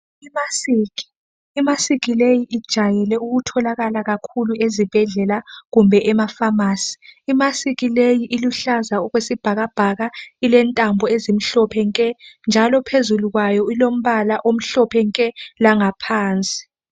Imasiki, imasiki leyi ijayele ukutholakala kakhulu ezibhedlela kumbe emafamasi. Imasiki leyi iluhlaza okwesibhakabhaka ilentambo ezimhlophe nke njalo phezulu kwayo ilombala omhlophe nke langaphansi.